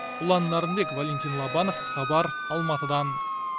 ұлан нарынбек валентин лобанов хабар алматыдан